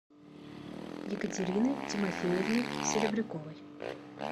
екатерины тимофеевны серебряковой